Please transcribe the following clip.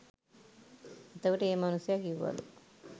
එතකොට ඒ මනුස්සය කිව්වලු